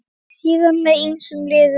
Síðar með ýmsum liðum.